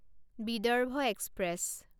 Vidarbha express